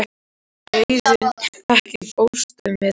Auðunn, ekki fórstu með þeim?